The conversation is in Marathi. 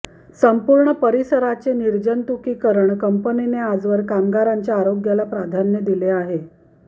संपूर्ण परिसराचे निर्जंतुकीकरण कंपनीने आजवर कामगारांच्या आरोग्याला प्राधान्य दिलेले आहे